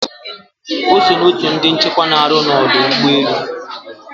Ọ so na otu ndi nchekwa na arụ na ọdụ ụgbọelu